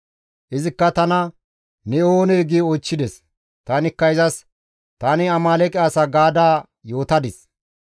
«Izikka tana, ‹Ne oonee?› gi oychchides. Tanikka izas, ‹Tani Amaaleeqe asa› gaada yootadis.